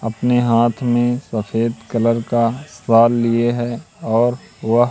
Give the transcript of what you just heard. अपने हाथ में सफेद कलर का लिए है और वह--